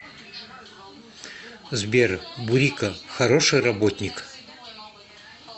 сбер бурико хороший работник